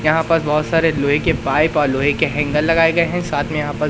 यहां पर बहोत सारे लोहे के पाइप और लोहे के हैंगर लगाए गए हैं साथ में यहां पर--